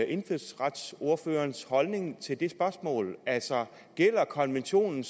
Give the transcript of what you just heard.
indfødsretsordførerens holdning til det spørgsmål altså gælder konventionen